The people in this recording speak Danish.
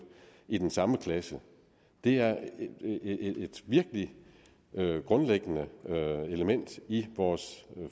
i den samme klasse det er et virkelig grundlæggende element i vores